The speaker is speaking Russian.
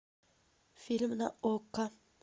фильм на окко